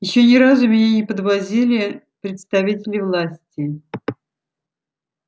ещё ни разу меня не подвозили представители власти